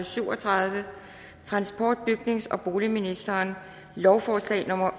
syv og tredive transport bygnings og boligministeren lovforslag nummer